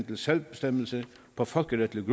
til selvbestemmelse på folkeretligt